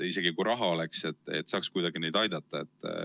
Isegi kui raha oleks, ei saaks kuidagi neid aidata.